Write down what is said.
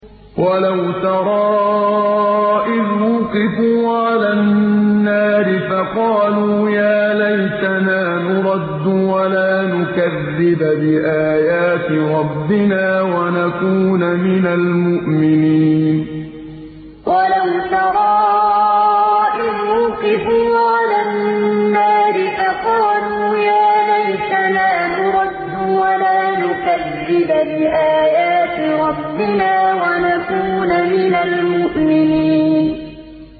وَلَوْ تَرَىٰ إِذْ وُقِفُوا عَلَى النَّارِ فَقَالُوا يَا لَيْتَنَا نُرَدُّ وَلَا نُكَذِّبَ بِآيَاتِ رَبِّنَا وَنَكُونَ مِنَ الْمُؤْمِنِينَ وَلَوْ تَرَىٰ إِذْ وُقِفُوا عَلَى النَّارِ فَقَالُوا يَا لَيْتَنَا نُرَدُّ وَلَا نُكَذِّبَ بِآيَاتِ رَبِّنَا وَنَكُونَ مِنَ الْمُؤْمِنِينَ